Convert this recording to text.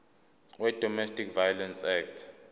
wedomestic violence act